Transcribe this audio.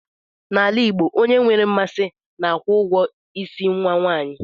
N'ala Igbo, onye nwere mmasị na-akwụ ụgwọ ịsị nwa nwanyị